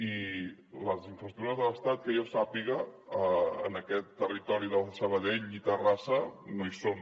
i les infraestructures de l’estat que jo sàpiga en aquest territori de sabadell i terrassa no hi són